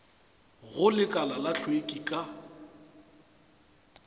go lekala la hlweki ka